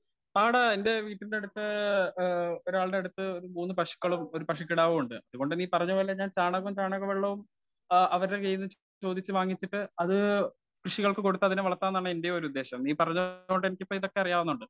Speaker 1 ആണ് എന്റെ വീടിനടുത്തു ഏ ഒരാളുടെ അടുത്ത് ഒരു മൂന്ന് പശുക്കളും ഒരു പശുക്കിടാവും ഉണ്ട്. അതുകൊണ്ട് നീ പറഞ്ഞതുപോലെ ഞാൻ ചാണകവും ചാണകവെള്ളവും ആ അവരുടെ കയ്യിൽനിന്നു ചോദിച്ചു വാങ്ങിച്ചിട്ട് അത് കൃഷികൾക്ക് കൊടുത്തു വളത്താമെന്നാണ് എന്റെ ഒരുദേശം. നീ പറഞ്ഞതിനോട് എനിക്കിപ്പോ ഇതൊക്കെ അറിയാവുന്നുണ്ട്.